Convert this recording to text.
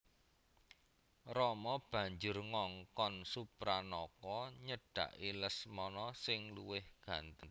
Rama banjur ngongkon Supranaka nyedhaki Lesmana sing luwih gantheng